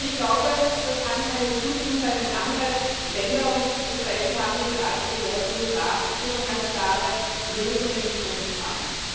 Aber das kann keine Entschuldigung sein, wenn andere Länder und das Beispiel haben wir gerade gehört die USA hier schon ganz klare Lösungen gefunden haben.